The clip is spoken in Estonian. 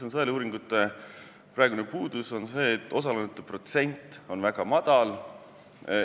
Sõeluuringute praegune puudus on see, et osalejate protsent on väga väike.